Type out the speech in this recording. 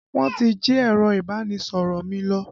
Wọn ti jí ẹ̀rọ ìbánisọ̀rọ̀ mi lọ